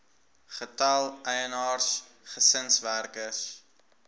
getal eienaars gesinswerkers